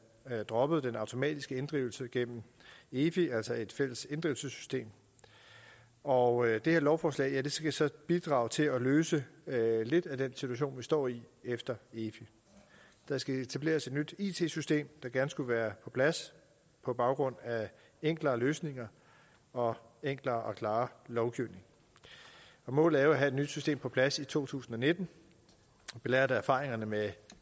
droppede den automatiske inddrivelse gennem efi altså et fælles inddrivelsessystem og det her lovforslag skal så bidrage til at løse lidt af den situation vi står i efter efi der skal etableres et nyt it system der gerne skulle være på plads på baggrund af enklere løsninger og enklere og klarere lovgivning målet er at have et nyt system på plads i to tusind og nitten belært af erfaringerne med